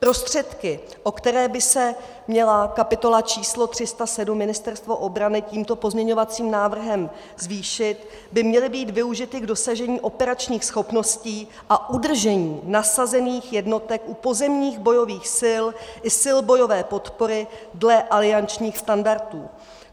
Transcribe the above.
Prostředky, o které by se měla kapitola č. 307 Ministerstvo obrany tímto pozměňovacím návrhem zvýšit, by měly být využity k dosažení operačních schopností a udržení nasazených jednotek u pozemních bojových sil i sil bojové podpory dle aliančních standardů.